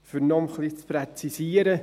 Um es ein bisschen zu präzisieren: